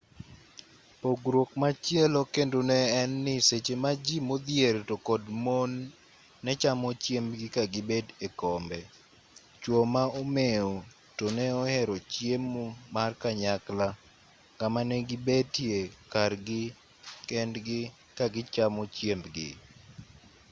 pogruok machielo kendo ne en ni seche ma ji modhier to kod mon ne chamo chiembgi ka gibet e kombe chuo ma omew to ne ohero chiemo mar kanykla kama ne gibetie kargi kendgi ka gichamo chiembgi